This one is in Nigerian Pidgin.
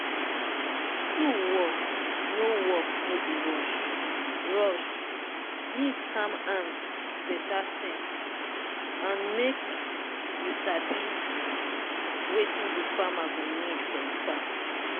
tool work no work no be rush-rushe need calm hand beta sense and make you sabi wetin de farmer go need for e farm.